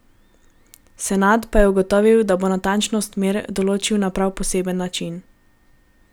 Senad pa je ugotovil, da bo natančnost mer določil na prav poseben način.